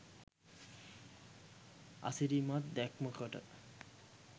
අසිරිමත් දැක්මකට